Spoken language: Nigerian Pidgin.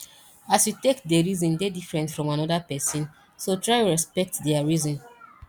as yu take dey reason dey diffrent from anoda pesin so try respekt dia reason